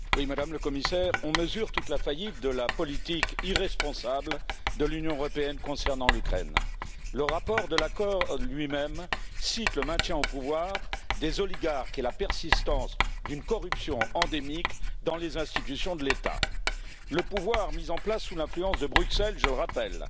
Monsieur le Président, Madame la Commissaire, on mesure toute la faillite de la politique irresponsable de l'Union européenne concernant l'Ukraine. Le rapport de l'accord lui même cite le maintien au pouvoir des oligarques et la persistance d'une corruption endémique dans les institutions de l'État. Le pouvoir mis en place sous l'influence de Bruxelles, je le rappelle,